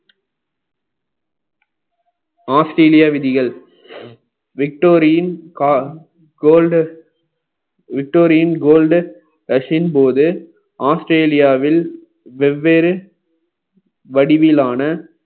Australia விதிகள் victorin go~ golden victorin gold ரஷின் போது ஆஸ்திரேலியாவில் வெவ்வேறு வடிவிலான